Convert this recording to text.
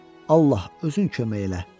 Allah, özün kömək elə.